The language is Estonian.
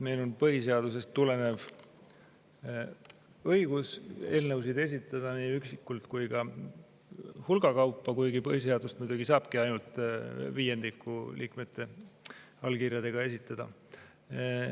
Meil on põhiseadusest tulenev õigus eelnõusid esitada nii üksikult kui ka hulga kaupa, kuigi põhiseaduse puhul muidugi saabki selle ainult viiendiku liikmete allkirjadega esitada.